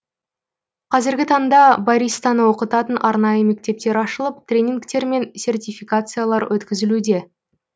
қазіргі таңда баристаны оқытатын арнайы мектептер ашылып тренингтер мен сертификациялар өткізілуде